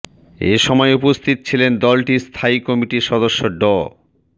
এ সময় উপস্থিত ছিলেন দলটির স্থায়ী কমিটির সদস্য ড